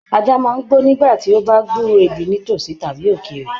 Ajá máa n gbó nígbàtí o bá gburó ibí ní tosí tàbí ókéré.